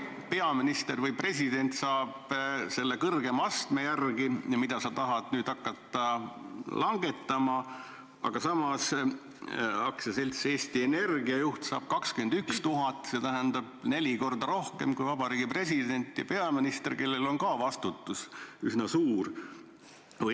Peaminister ja president saavad palka selle kõrgema astme järgi, mida sa tahad nüüd hakata langetama, aga samas AS-i Eesti Energia juht saab palka 21 000 eurot ehk neli korda rohkem kui president ja peaminister, kellel on ka vastutus üsna suur.